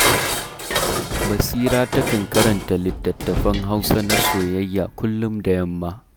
Basira takan karanta littattafan Hausa na soyayya kullum da yamma